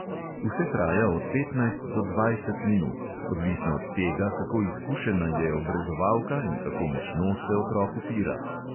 Vse traja od petnajst do dvajset minut, odvisno od tega, kako izkušena je obrezovalka in kako močno se otrok upira.